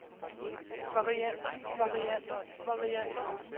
varianter varianter varianter